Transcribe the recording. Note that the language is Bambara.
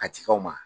A ci aw ma